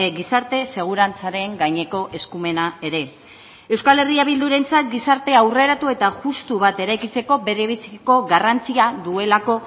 gizarte segurantzaren gaineko eskumena ere euskal herria bildurentzat gizarte aurreratu eta justu bat eraikitzeko bere biziko garrantzia duelako